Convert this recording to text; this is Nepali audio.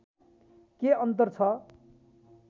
के अन्तर छ